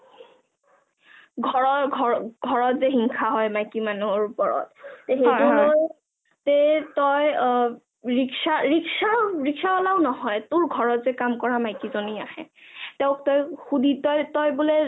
ঘৰৰ ঘৰত যে ঈৰ্ষা হয় মাইকি মানুহৰ ওপৰত তেই তই ৰিক্সা ৰিক্সা ৰিক্সাল্লাহও নহয় তোৰ ঘৰত যে কাম কৰা মাইকি জনি আহে তেওক তই সুধি তই বুলে